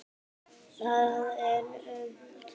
Það er unnt.